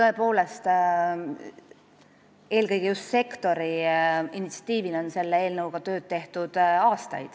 Tõepoolest, eelkõige just sektori initsiatiivil on selle eelnõuga aastaid tööd tehtud.